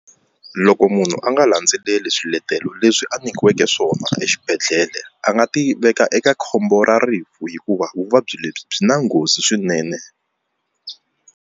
Loko munhu a nga landzeleli swiletelo leswi a nyikiweke swona exibedhlele a nga ti veka eka khombo ra rifu hikuva vuvabyi lebyi byi na nghozi swinene.